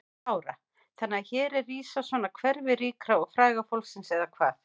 Lára: Þannig að hér er rísa svona hverfi ríka og fræga fólksins eða hvað?